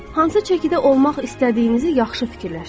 Hansı çəkidə olmaq istədiyinizi yaxşı fikirləşin.